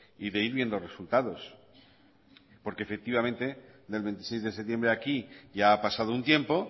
y de ir viendo resultados porque efectivamente del veintiséis de septiembre a aquí ya ha pasado un tiempo